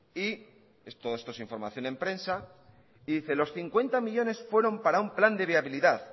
y todo esto es información en prensa dice los cincuenta millónes fueron para un plan de viabilidad